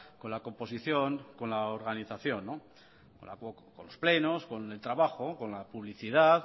con la composición con la organización con los plenos con el trabajo con la publicidad